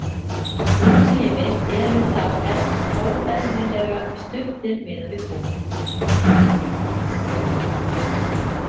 útlimir eru þá óeðlilega stuttir miðað við búk